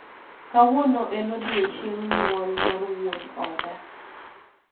kawuono en odiochieng' nyuol mar wuon oda